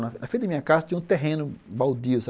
Na frente da minha casa tinha um terreno baldio sabe